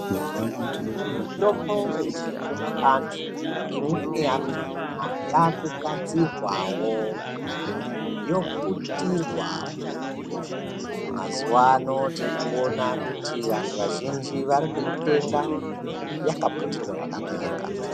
Mitombo yechiantu imweni yakona yakugadzirwawo yoputirwa. Mazuvano tiri kuona kuti vanhu vazhinji vari kuitenga yakaputirwa zvakanaka.